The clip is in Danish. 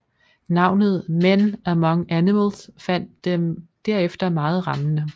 Navnet Men Among Animals faldt dem derefter meget rammende